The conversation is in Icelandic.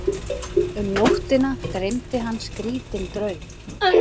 Um nóttina dreymdi hann skrítinn draum.